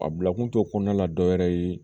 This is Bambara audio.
A bila kun t'o kɔnɔna la dɔ wɛrɛ ye